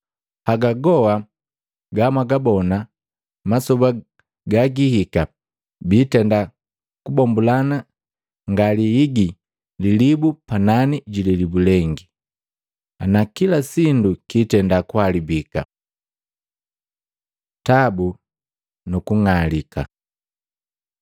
“Haga goa gamwagabona, masoba gagihika, biitenda kubombulana ngaliigi lilibu panani jililibu lengi, na kila sindu kiitenda kuhalabika.” Tabu nuku ng'alika Matei 24:3-14; Maluko 13:3-13